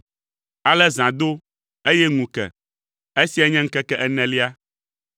Ale zã do, eye ŋu ke. Esiae nye ŋkeke enelia.